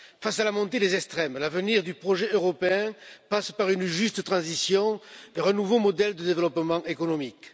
Face à la montée des extrêmes, l'avenir du projet européen passe par une juste transition vers un nouveau modèle de développement économique.